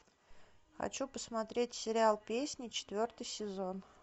хочу посмотреть сериал песни четвертый сезон